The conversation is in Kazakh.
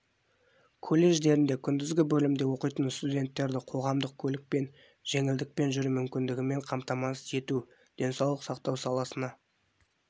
колледждерінде күндізгі бөлімде оқитын студенттерді қоғамдық көлікпен жеңілдікпен жүру мүмкіндігімен қамтамасыз ету денсаулық сақтау саласына